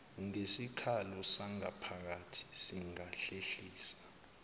ngesikhalo sangaphakathi singahlehliswa